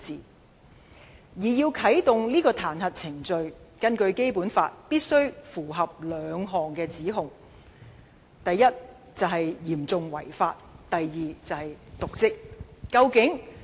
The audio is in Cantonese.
根據《基本法》，要啟動彈劾程序必須符合兩類指控，一是"嚴重違法"，一是"瀆職"。